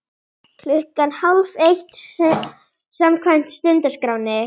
Klukkan hálfeitt samkvæmt stundaskrá.